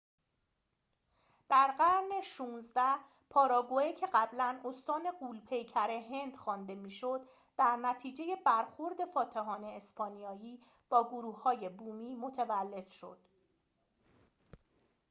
در قرن ۱۶ پاراگوئه که قبلاً استان غول پیکر هند خوانده می شد در نتیجه برخورد فاتحان اسپانیایی با گروه های بومی متولد شد